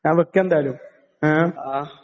ഞാൻ വെക്കാ എന്തായാലും ഏ?